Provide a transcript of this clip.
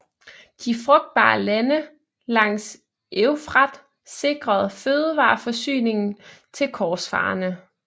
De frugtbare lande langs Eufrat sikrede fødevareforsyningen til korsfarerne